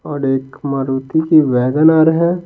और एक मारुति की वैगनआर है।